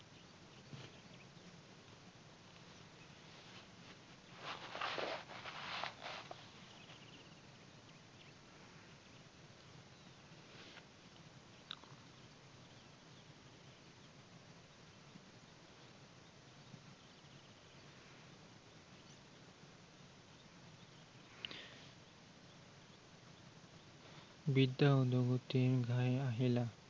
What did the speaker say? বিদ্য়া উদ্গতিৰ ঘাই আহিলা।